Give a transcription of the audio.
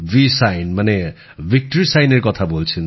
V sign মানে victory সাইনের কথা বলছেন